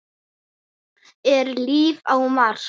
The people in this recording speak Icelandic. Er líf á Mars?